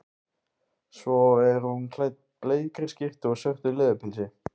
Svo er hún klædd bleikri skyrtu og svörtu leðurpilsi.